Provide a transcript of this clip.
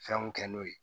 Fɛnw kɛ n'o ye